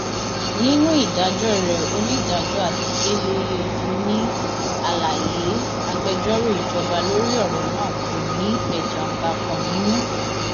nínú ìdájọ rẹ onídàájọ adeleye ní àlàyé agbẹjọrò ìjọba lórí ọrọ náà kò ní ẹjanbàkan nínú